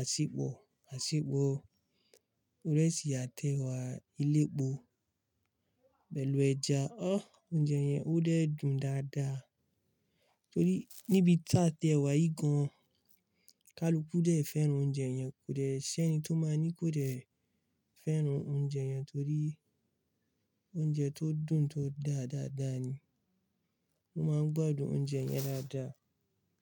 àsepò, àsepò ìrẹsì àtẹ wà elépo pẹ̀lú ẹja. Ọ́! Oúnjẹ yẹn ó dẹ́ dùn dáadáa torí níbi tí àtẹ wà yìí gan, kaluku dẹ̀ fẹ́ràn oúnjẹ yẹn kò dẹ́ ṣé ẹni tó máa ní kò dẹ̀ fẹ́ràn oúnjẹ yẹn torí oúnjẹ tó dùn tó dá dáadáa ni. Mo máa ń gbádùn oúnjẹ yẹn dáadáa.